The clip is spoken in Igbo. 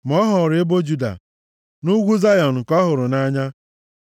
ma ọ họọrọ ebo Juda, na ugwu Zayọn, nke ọ hụrụ nʼanya.